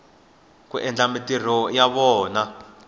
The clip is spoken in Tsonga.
ku endla mintirho ya vona